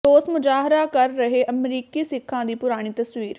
ਰੋਸ ਮੁਜ਼ਾਹਰਾ ਕਰ ਰਹੇ ਅਮਰੀਕੀ ਸਿੱਖਾਂ ਦੀ ਪੁਰਾਣੀ ਤਸਵੀਰ